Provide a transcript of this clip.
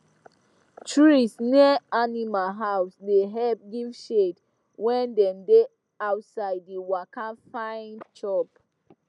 trees near animal house da help give shade when dem da outside da waka find chop